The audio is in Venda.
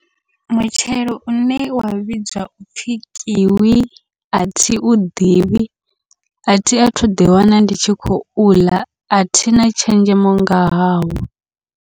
Mutshelo une wa vhidzwa upfhi kiwi athi u ḓivhi, athi athu ḓi wana ndi tshi khou ḽa athina tshenzhemo nga hawo.